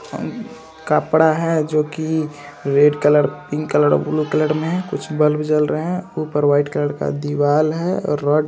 कपड़ा है जो की red colour pink colour blue colour में है कुछ बल्ब जल रहे हैं ऊपर वाइट कलर की दीवाल है और रड --